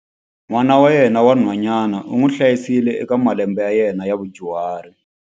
N'wana wa yena wa nhwanyana u n'wi hlayisile eka malembe ya yena ya vudyuhari.